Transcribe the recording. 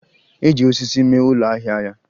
Eji osisi mee ụlọ ahịa ya.